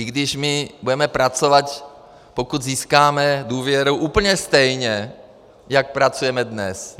I když my budeme pracovat, pokud získáme důvěru, úplně stejně, jako pracujeme dnes.